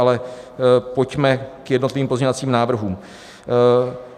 Ale pojďme k jednotlivým pozměňovacím návrhům.